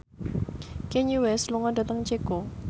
Kanye West lunga dhateng Ceko